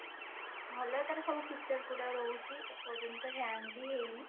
ଭଲ ତାର ସବୁ features ଗୁଡା ରହୁଛି ଏ ପର୍ଯ୍ୟନ୍ତ hang ବି ହେଇନି